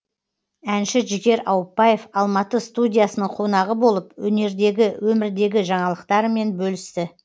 әнші жігер ауыпбаев алматы студиясының қонағы болып өнердегі өмірдегі жаңалықтарымен бөлісті